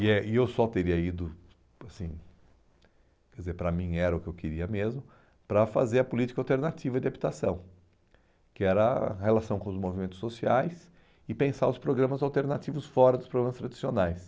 E eh e eu só teria ido, assim, quer dizer, para mim era o que eu queria mesmo, para fazer a política alternativa de habitação, que era a relação com os movimentos sociais e pensar os programas alternativos fora dos programas tradicionais.